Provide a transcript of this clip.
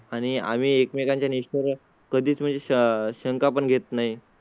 आणि आम्ही एकमेकांचे नेश्वर कधीच म्हणजे शंख आपण घेत नाही.